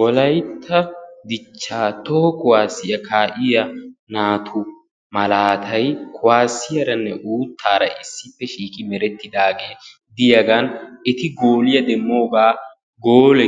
wolaytta dichcha toho kuwassiya citta malatay bettessi abolanikka kuwassiya misile, holiya